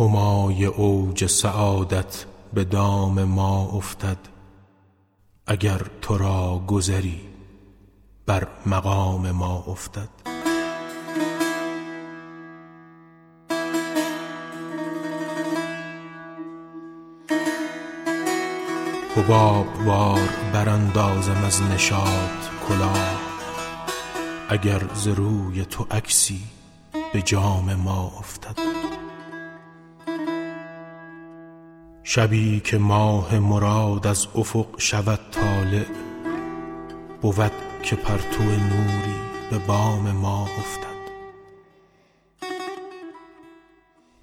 همای اوج سعادت به دام ما افتد اگر تو را گذری بر مقام ما افتد حباب وار براندازم از نشاط کلاه اگر ز روی تو عکسی به جام ما افتد شبی که ماه مراد از افق شود طالع بود که پرتو نوری به بام ما افتد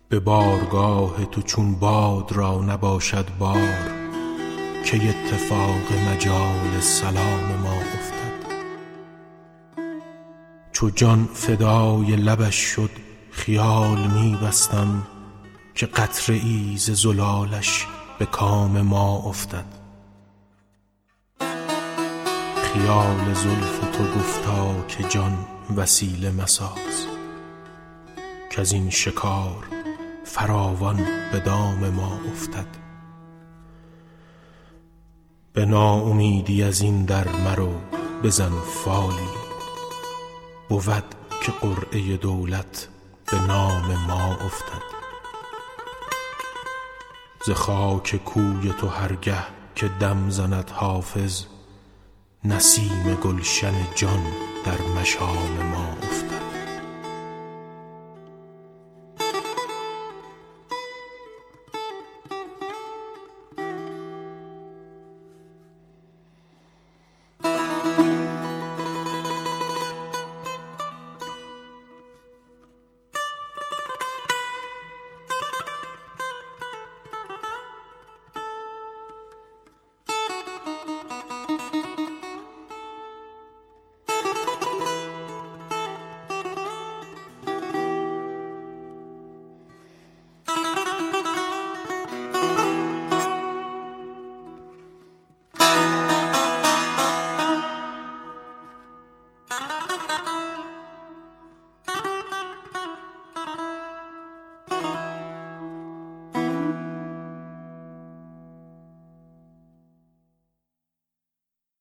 به بارگاه تو چون باد را نباشد بار کی اتفاق مجال سلام ما افتد چو جان فدای لبش شد خیال می بستم که قطره ای ز زلالش به کام ما افتد خیال زلف تو گفتا که جان وسیله مساز کز این شکار فراوان به دام ما افتد به ناامیدی از این در مرو بزن فالی بود که قرعه دولت به نام ما افتد ز خاک کوی تو هر گه که دم زند حافظ نسیم گلشن جان در مشام ما افتد